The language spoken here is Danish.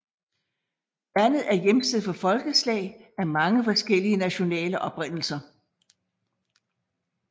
Landet er hjemsted for folkeslag af mange forskellige nationale oprindelser